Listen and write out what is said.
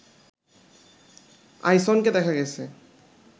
আইসনকে দেখা গেছে